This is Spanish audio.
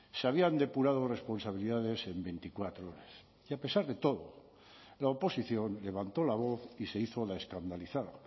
se habían depurado responsabilidades en veinticuatro horas y a pesar de todo la oposición levantó la voz y se hizo la escandalizada